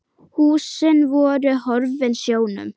Húsin voru horfin sjónum.